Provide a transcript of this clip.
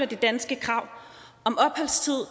det danske krav om opholdstid